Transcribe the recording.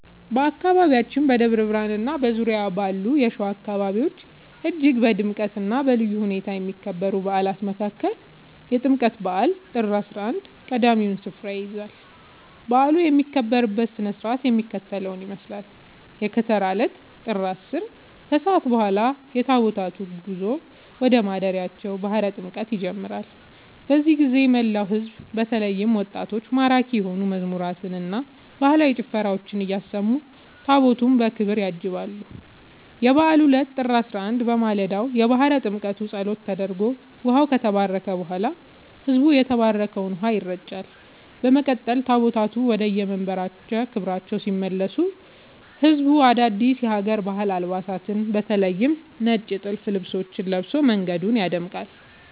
በአካባቢያችን በደብረ ብርሃንና በዙሪያው ባሉ የሸዋ አካባቢዎች እጅግ በድምቀትና በልዩ ሁኔታ ከሚከበሩ በዓላት መካከል የጥምቀት በዓል (ጥር 11) ቀዳሚውን ስፍራ ይይዛል። በዓሉ የሚከበርበት ሥነ ሥርዓት የሚከተለውን ይመስላል፦ የከተራ ዕለት (ጥር 10)፦ ከሰዓት በኋላ የታቦታቱ ጉዞ ወደ ማደሪያቸው (ባሕረ ጥምቀቱ) ይጀምራል። በዚህ ጊዜ መላው ሕዝብ በተለይም ወጣቶች ማራኪ የሆኑ መዝሙራትንና ባህላዊ ጭፈራዎችን እያሰሙ ታቦታቱን በክብር ያጅባሉ። የበዓሉ ዕለት (ጥር 11)፦ በማለዳው የባሕረ ጥምቀቱ ጸሎት ተደርጎ ውኃው ከተባረከ በኋላ፣ ሕዝቡ በተባረከው ውኃ ይረጫል። በመቀጠል ታቦታቱ ወደየመንበረ ክብራቸው ሲመለሱ ሕዝቡ አዳዲስ የሀገር ባህል አልባሳትን (በተለይ ነጭ ጥልፍ ልብሶችን) ለብሶ መንገዱን ያደምቃል።